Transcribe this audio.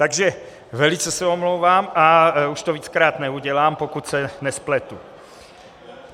Takže velice se omlouvám a už to víckrát neudělám, pokud se nespletu.